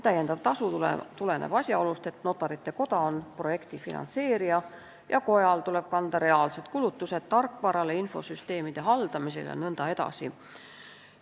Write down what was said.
Täiendav tasu tuleneb asjaolust, et Notarite Koda on projekti finantseerija ja kojal tuleb kanda reaalseid kulutusi tarkvarale, infosüsteemide haldamisele jne.